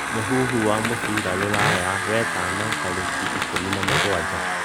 muhũhũ wa mũbĩra rũraya wetano tarĩkĩ ĩkumĩ na mũgwanja